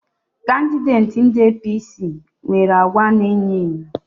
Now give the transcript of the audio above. Kandideti ndị APC nwere àgwà ana e nyo enyo